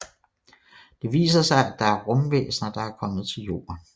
Det viser sig at det er rumvæsener der er kommet til jorden